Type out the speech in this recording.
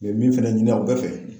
U ye min fɛnɛ ɲini aw bɛɛ fɛ